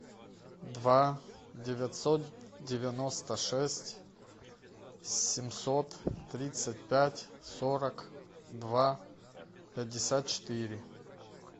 два девятьсот девяносто шесть семьсот тридцать пять сорок два пятьдесят четыре